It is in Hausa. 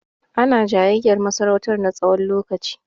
Ana jayayyar masarautan na tsayin lokaci.